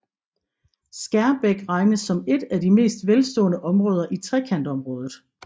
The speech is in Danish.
Skærbæk regnes som et af de mest velstående områder i Trekantområdet